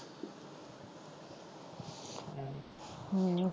ਹਮ